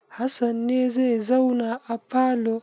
Hassan ne zai zauna a falo?